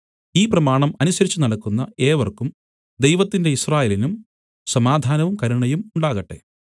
ഈ പ്രമാണം അനുസരിച്ചുനടക്കുന്ന ഏവർക്കും ദൈവത്തിന്റെ യിസ്രായേലിനും സമാധാനവും കരുണയും ഉണ്ടാകട്ടെ